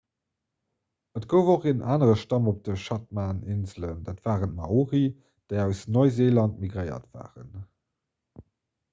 et gouf och en anere stamm op den chathaminselen dat waren d'maori déi aus neuseeland migréiert waren